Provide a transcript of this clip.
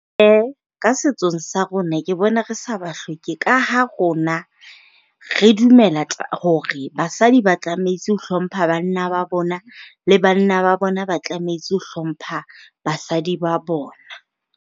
E, ka setsong sa rona ke bona re sa ba hloke. Ka ha rona re dumela hore basadi ba tlametse ho hlompha banna ba bona, le banna ba bona ba tlametse ho hlompha basadi ba bona.